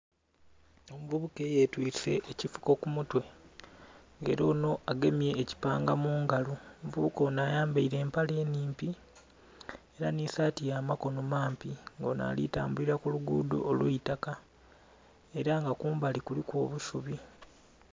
Omuvubuka eyetwise ekifuko ku mutwe nga ela onho agemye ekipanga mu ngalo. Omuvubuka onho ayambaile empale nnhimpi ela nhi saati ya makono mampi, nga onho ali tambulila ku luguudho olw'eitaka ela nga kumbali kuliku obusubi.